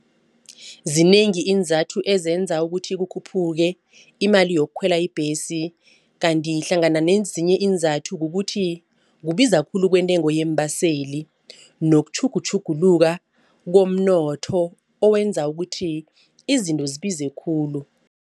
Zinengi iinzathu ezenza ukuthi kukhuphuke imali yokukhwela ibhesi. Kanti hlangana nezinye iinzathu kukuthi kubiza khulu kwentengo yeembaseli nokutjhugutjhuluka komnotho owenza ukuthi izinto zibize khulu.